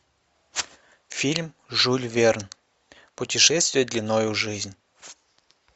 фильм жюль верн путешествие длиною в жизнь